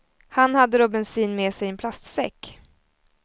Han hade då bensin med sig i en plastsäck.